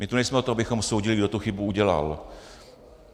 My tu nejsme od toho, abychom soudili, kdo tu chybu udělal.